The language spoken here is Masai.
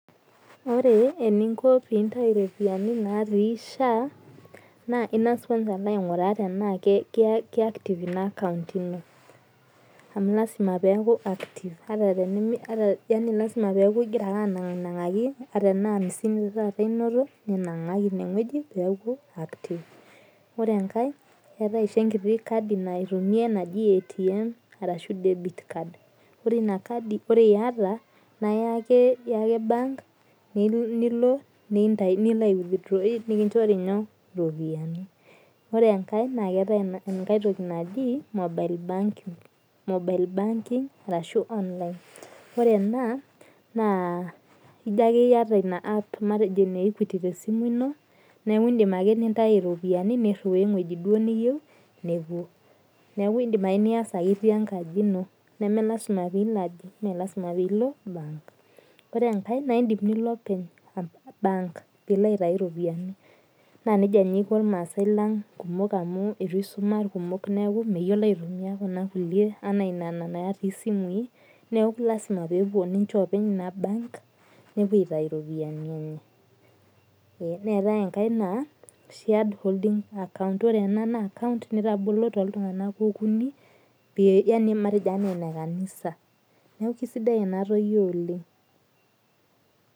Ore eninko pintayu ropiyiani natii SHA, naa ing'as kwansa alo aing'uraa tenaa ke active ina akaunt ino. Amu lasima peku active. Ata tenemi yani lasima peku igira ake anang'aki ata enaa amisini taata inoto, ninang'aki ineng'oji peku active. Ore enkae, eetae oshi enkiti kadi naitumiai naji ATM arashu debit card [cd]. Ore inakadi ore yata, na iya ake bank, nilo nintayu nilo aiwithroi nikinchori nyoo, ropiyiani. Ore enkae, na keetae enkae toki naji, mobile banking, mobile banking arashu online. Ore ena, naa ijo akeyie yata ina app matejo ine Equity tesimu ino, neku idim ake nintau ropiyiani nirriwaa eng'oji duo niyieu, nepuo. Neeku idim ake nias ake itii enkaji ino. Nemelasima pilo aji, melasima pilo bank. Ore enkae na idim nilo openy bank. Pilo aitayu ropiyiani. Na nejia naa iko irmaasai lang kumok amu itu isuma irkumok neeku meyiolo aitumia kuna kulie enaa nena natii simui, neeku lasima pepuo ninche openy ina bank, nepuo aitayu ropiyiani enye. Neetae enkae naa shared holding account. Ore ena naa akaunt nitabolo toltung'anak okuni, pe yani matejo ene kanisa. Neeku kisidai enatoki oleng.